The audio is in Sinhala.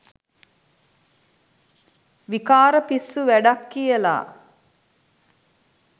විකාර පිස්සු වැඩක් කියලා.